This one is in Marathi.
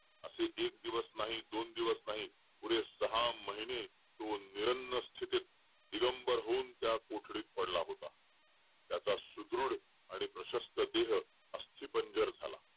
असे एक दिवस नाही दोन दिवस तो पुढे सहा महिने तो निन्गन स्थितीत दिगंबर होऊन त्या कोठडीत पडला होता त्याचा सुदृढ व प्रष्ठस्थ देह अस्ति पानझर झाला